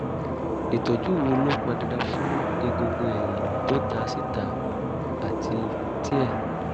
ìtọ́jú wo ló pọn dandan fún egungun ẹ̀yìn tó ta síta àti tíẹ̀?